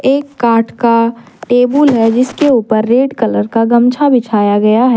एक काठ का टेबुल है जिसके ऊपर रेड कलर का ग़मछा बिछाया गया है।